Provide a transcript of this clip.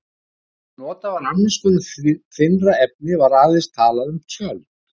Ef notað var annars konar þynnra efni var aðeins talað um tjöld.